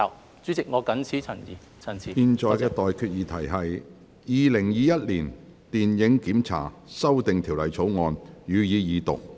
我現在向各位提出的待決議題是：《2021年電影檢查條例草案》，予以二讀。